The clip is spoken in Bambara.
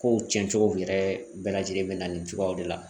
Kow cɛncogo yɛrɛ bɛɛ lajɛlen bɛ na nin cogoyaw de la